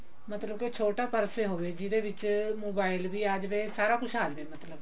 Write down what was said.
ਮਤਲਬ ਕੇ ਛੋਟਾ ਪਰਸ ਹੀ ਹੋਵੇ ਜਿਹਦੇ ਵਿੱਚ mobile ਵੀ ਆ ਜਾਵੇ ਸਾਰਾ ਕੁਝ ਆ ਜਾਵੇ ਮਤਲਬ